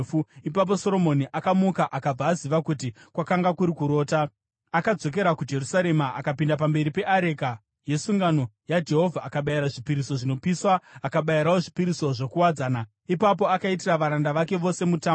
Ipapo Soromoni akamuka, akabva aziva kuti kwakanga kuri kurota. Akadzokera kuJerusarema, akamira pamberi peareka yesungano yaJehovha akabayira zvipiriso zvinopiswa, akabayirawo zvipiriso zvokuwadzana. Ipapo akaitira varanda vake vose mutambo.